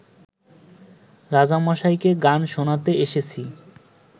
রাজামশাইকে গান শোনাতে এসেছি